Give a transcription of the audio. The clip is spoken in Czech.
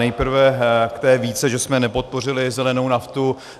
Nejprve k té výtce, že jsme nepodpořili zelenou naftu.